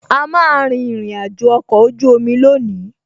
A má a rin ìrìnàjò ọkọ̀ ojú omi lónìí